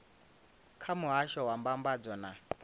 kha muhasho wa mbambadzo na